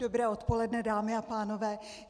Dobré odpoledne, dámy a pánové.